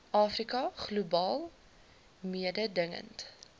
afrika globaal mededingend